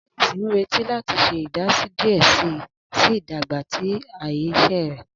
Alice n nireti lati ṣe idasi diẹ sii si idagba ti aaye iṣẹ rẹ.